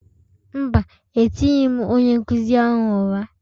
Mba, etighị m onye nkụzi ahụ ụra.